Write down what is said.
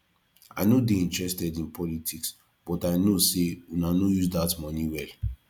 i no dey interested in politics but i no say una no dey use dat money well